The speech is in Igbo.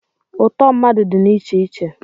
ụtọ mmadụ dị na iche iche